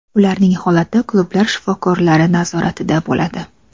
Ularning holati klublar shifokorlari nazoratida bo‘ladi.